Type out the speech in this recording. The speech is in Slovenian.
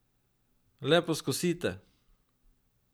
Le poskusite!